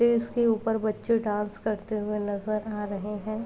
टेस के ऊपर बच्चे डांस करते हुए नजर आ रहे हैं।